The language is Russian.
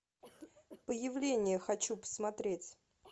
появление хочу посмотреть